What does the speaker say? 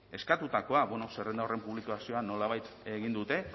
eskatutakoa bueno zerrenda horren publikazioa nolabait egin dute